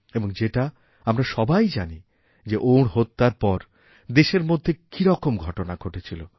এবং যেটা আমরা সবাই জানি যে ওঁর হত্যার পর দেশেরমধ্যে কীরকম ঘটনা ঘটেছিল